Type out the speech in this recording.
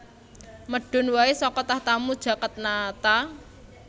Medun wae saka tahtamu Jagatnata